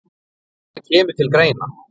En það kemur til greina.